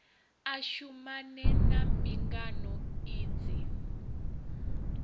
a shumane na mbingano idzi